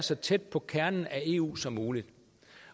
så tæt på kernen af eu som muligt